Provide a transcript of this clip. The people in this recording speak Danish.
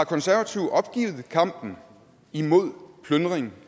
konservative opgivet kampen imod plyndring